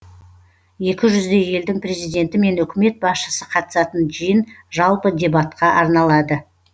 екі жүздей елдің президенті мен үкімет басшысы қатысатын жиын жалпы дебатқа арналады